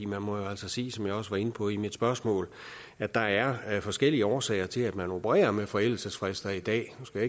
man må jo altså sige som jeg også var inde på i mit spørgsmål at der er forskellige årsager til at man opererer med forældelsesfrister i dag nu skal